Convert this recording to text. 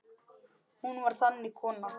Hún var þannig kona.